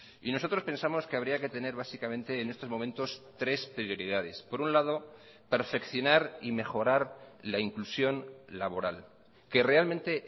y nosotros pensamos que habría que tener básicamente en estos momentos tres prioridades por un lado perfeccionar y mejorar la inclusión laboral que realmente